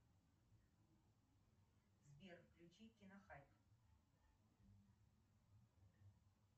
сбер включи кинохайп